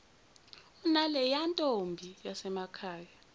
unaleya ntombi yasemakhaya